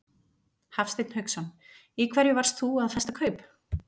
Hafsteinn Hauksson: Í hverju varst þú að festa kaup?